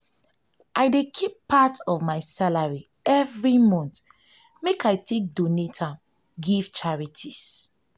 i dey keep part of my salary every month make i donate am give charities.